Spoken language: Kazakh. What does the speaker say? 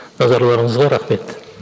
назарларыңызға рахмет